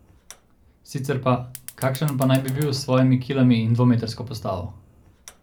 Sicer pa, kakšen pa naj bi bil s svojimi kilami in dvometrsko postavo?